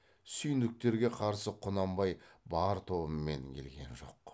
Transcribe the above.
сүйіндіктерге қарсы құнанбай бар тобымен келген жоқ